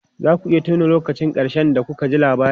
Za ku iya tuna lokacin ƙarshe da kuka ji labari?